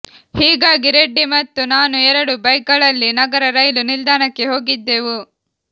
ಹೀಗಾಗಿ ರೆಡ್ಡಿ ಮತ್ತು ನಾನು ಎರಡು ಬೈಕ್ಗಳಲ್ಲಿ ನಗರ ರೈಲು ನಿಲ್ದಾಣಕ್ಕೆ ಹೋಗಿದ್ದೆವು